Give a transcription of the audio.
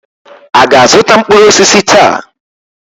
A ga-azụta mkpụrụ osisi taa?